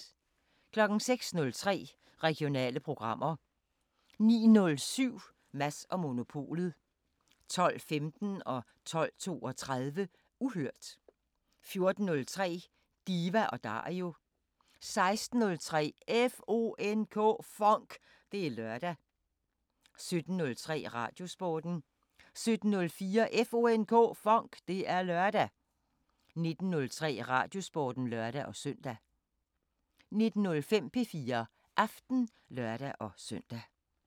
06:03: Regionale programmer 09:07: Mads & Monopolet 12:15: Uhørt 12:32: Uhørt 14:03: Diva & Dario 16:03: FONK! Det er lørdag 17:03: Radiosporten 17:04: FONK! Det er lørdag 19:03: Radiosporten (lør-søn) 19:05: P4 Aften (lør-søn)